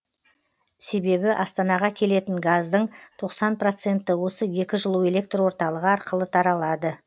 себебі астанаға келетін газдың тоқсан проценті осы екі жылу электр орталығы арқылы таралады